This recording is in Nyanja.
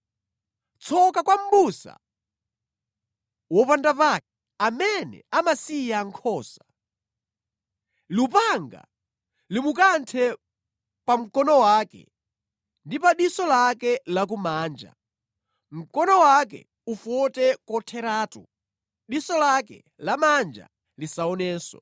“Tsoka kwa mʼbusa wopandapake, amene amasiya nkhosa! Lupanga limukanthe pa mkono wake ndi pa diso lake lakumanja! Mkono wake ufote kotheratu, diso lake lamanja lisaonenso.”